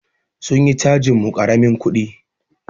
Sun yi cajin mu karamin kudi.